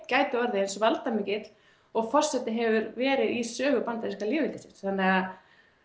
gæti orðið eins valdamikill og forseti hefur verið í sögu bandaríska lýðveldisins þannig að